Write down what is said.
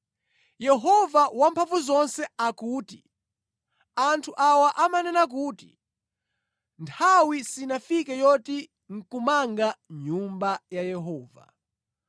Yehova Wamphamvuzonse akuti, “Anthu awa amanena kuti, ‘Nthawi sinafike yoti nʼkumanga Nyumba ya Yehova.’ ”